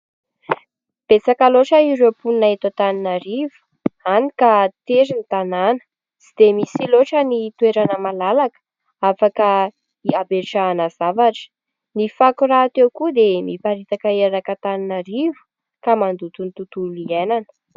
Betsaka loatra ireo mponina eto Antananarivo, hany ka tery ny tanàna tsy dia misy loatra ny toerana malalaka afaka hametrahana zavatra ; ny fako raha teo koa dia miparitaka erak' Antananarivo ka mandoto ny tontolo iainana.